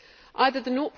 Either